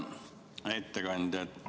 Hea ettekandja!